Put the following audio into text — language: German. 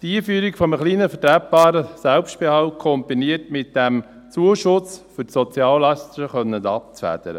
Die Einführung eines kleinen, vertretbaren Selbstbehalts, kombiniert mit diesem Zuschuss, um die Soziallasten abfedern zu können.